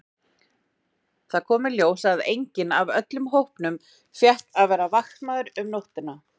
Það kom í ljós að enginn af öllum hópnum fékk að vera vaktmaður um nóttina.